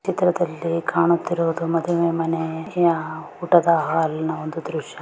ಈ ಚಿತ್ರದಲ್ಲಿ ಕಾಣಿಸುತ್ತಿರುವುದು ಮದುವೆ ಮನೆಯ ಊಟದ ಹಾಲ್ ನ ಒಂದು ದೃಶ್ಯ .